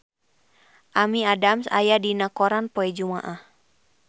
Amy Adams aya dina koran poe Jumaah